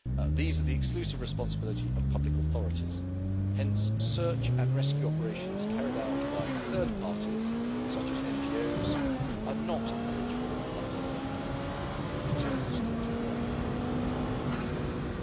These are the exclusive responsibility of public authorities, hence search and rescue operations carried out by third parties, such as NGOs, are not eligible under the Internal Security Fund for EU funding.